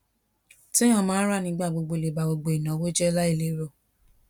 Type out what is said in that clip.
téèyàn máa ń rà nígbà gbogbo lè ba gbogbo ìnáwó jé lai lero